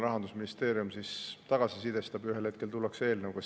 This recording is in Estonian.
Rahandusministeerium siis tagasisidestab, ühel hetkel tullakse eelnõuga.